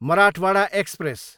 Marathwada express